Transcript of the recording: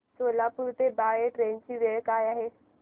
सोलापूर ते बाळे ट्रेन ची वेळ काय आहे